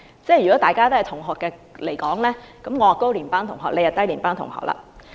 如果大家是同學，我是高年班學生，他則是低年班學生。